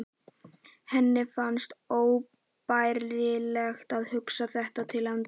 Henni fannst óbærilegt að hugsa þetta til enda.